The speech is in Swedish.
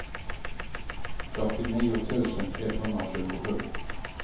fyrtionio tusen etthundratjugosju